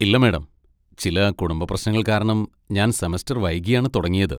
ഇല്ല, മാഡം, ചില കുടുംബ പ്രശ്നങ്ങൾ കാരണം ഞാൻ സെമസ്റ്റർ വൈകിയാണ് തുടങ്ങിയത്.